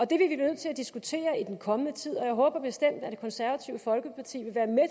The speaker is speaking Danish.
det er vi nødt til at diskutere i den kommende tid og jeg håber bestemt at det konservative folkeparti vil være med